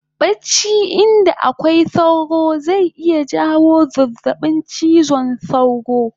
Bacci inda akwai sauro zai iya jawo zazzabin chiwon sauro